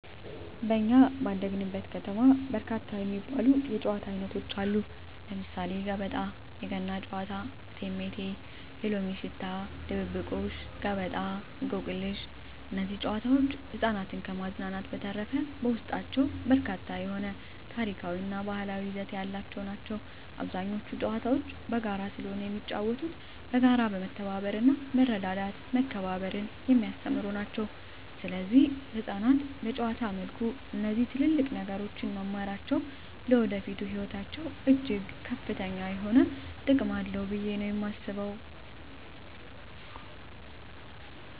በኛ ባደግንበት ከተማ በርካታ የሚባሉ የጨዋታ አይነቶች አሉ ለምሳሌ ገበጣ: የገና ጨዋታ እቴሜቴ የሎሚ ሽታ ድብብቆሽ ገበጣ እንቆቅልሽ እነዚህ ጨዋታዎች ህፃናትን ከማዝናናት በዠተረፈ በውስጣቸው በርካታ የሆነ ታሪካዊ እና ባህላዊ ይዘት ያላቸው ናቸው አብዛኞቹ ጨዋታዎች በጋራ ስለሆነ የሚጫወተው በጋራ መተባበርና መረዳዳትና መከባበርን የሚያስተምሩ ናቸው ሰለዚህ ህፃናት በጨዋታ መልኩ እነዚህ ትልልቅ ነገሮች መማራቸው ለወደፊቱ ህይወታቸው እጅግ ከፍተኛ የሆነ ጥቅም አለው ብየ ነው የማስበው ማለት ነው።